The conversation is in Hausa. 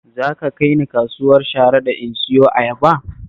Za ka kai ni kasuwar Sharaɗa in siyo ayaba?